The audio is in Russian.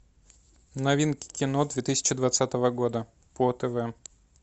новинки кино две тысячи двадцатого года по тв